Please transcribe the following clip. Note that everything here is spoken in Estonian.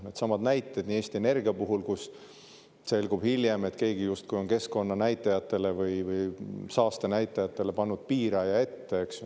Needsamad näited, nagu Eesti Energia puhul, kus selgub hiljem, et keegi justkui on keskkonnanäitajatele või saastenäitajatele pannud piiraja ette.